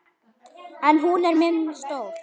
En hún er mér stór.